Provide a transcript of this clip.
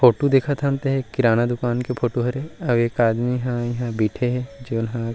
photo देखत हन ते किराना दुकान के फोटो हरे और एक आदमी ह यहाँ बइठे हे जेन ह --